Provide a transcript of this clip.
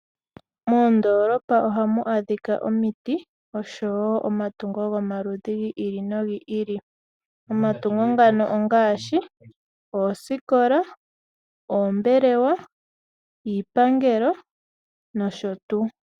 Moondolopa ohamu adhika omiti oshowo omatungo gomaludhi gi ili nogi ili. Omatungo ngano ongaashi: oosikola, oombelewa, iipangelo nosho tuu.